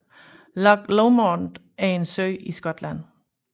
Loch Lomond er en sø i Skotland